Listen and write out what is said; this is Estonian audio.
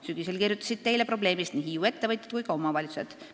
Sügisel kirjutasid Teile probleemist nii Hiiu ettevõtjad kui ka omavalitsused.